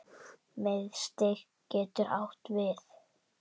Miðstig getur átt við